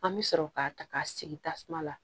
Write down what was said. An bɛ sɔrɔ k'a ta k'a sigi tasuma la